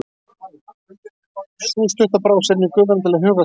Sú stutta brá sér inn í gufuna til að huga að skolinu.